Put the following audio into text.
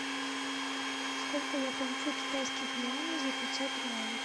сколько я получу китайских юаней за пятьсот реалов